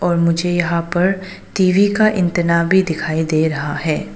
और मुझे यहां पर टी_वी का एंटीना भी दिखाई दे रहा है।